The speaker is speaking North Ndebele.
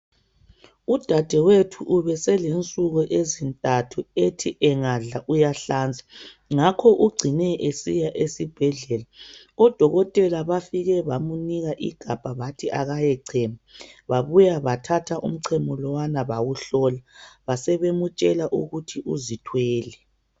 Udadewethu ubeselensuku ezintathu ethi angadla uyahlanza, ngakho ugcine esiya esibhedlela, odokotela bafike bamnika igabha bathi akayechema, babuya bathatha umchemo lowana bawuhlola, basebemtshela ukuthi uzithwele.